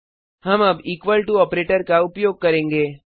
हम अब equal to operator का उपयोग करेंगे